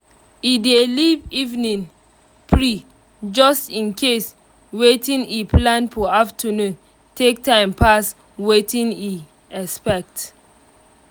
e dey leave evening free just in case watin e plan for afternoon take time pass watin e expect